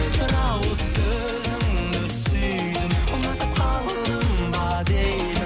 бір ауыз сөзіңді сүйдім ұнатып қалдым ба деймін